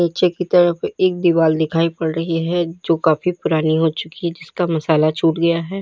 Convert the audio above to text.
पीछे की तरफ एक दीवाल दिखाई पड़ रही है जो काफी पुरानी हो चुकी है जिसका मसाला छूट गया है।